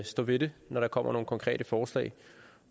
stå ved det når der kommer nogle konkrete forslag